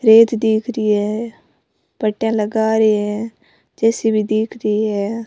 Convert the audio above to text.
रेत दिख री है पट्टीया लगा रही है जेसीबी दिख रही है।